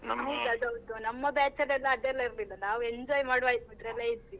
ಹೌದು ನಮ್ಮ batch ಅಲೆಲ್ಲಾ ಅದೆಲ್ಲ ಇರ್ಲಿಲ್ಲ ನಾವು enjoy ಮಾಡುವ ಇದ್ರಲ್ಲೇ ಇದ್ವಿ.